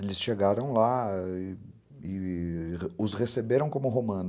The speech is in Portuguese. Eles chegaram lá e e e os receberam como romano.